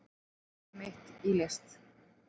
Líf mitt í list